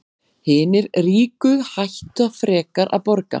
Hinir ríku hætta frekar að borga